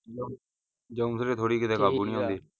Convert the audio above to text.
ਕਾਬੂ ਨਹੀਂ ਆਉਂਦੇ,